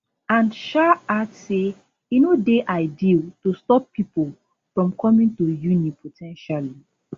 and shay add say e no dey ideal to stop pipo from coming [to] uni po ten tially